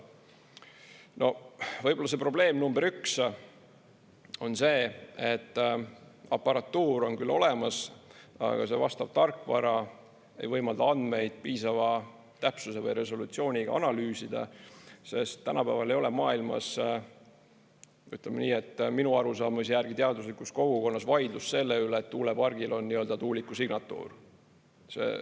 No võib-olla see probleem number üks on see, et aparatuur on küll olemas, aga see vastav tarkvara ei võimalda andmeid piisava täpsuse või resolutsiooniga analüüsida, sest tänapäeval ei ole maailmas, ütleme nii, minu arusaamise järgi teaduslikus kogukonnas vaidlus selle üle, et tuulepargil on nii-öelda tuuliku signatuur.